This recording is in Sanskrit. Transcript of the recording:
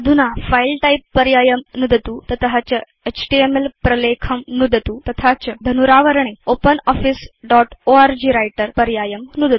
अधुना फिले टाइप पर्यायं नुदतु तत च एचटीएमएल प्रलेखं नुदतु तथा च धनुरावरणे ओपनॉफिस दोत् ओर्ग व्रिटर पर्यायम्